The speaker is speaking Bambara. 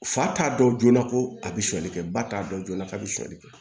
Fa t'a dɔn joona ko a bɛ sonyani kɛ ba t'a dɔn joona k'a bɛ sonyɛli kɛ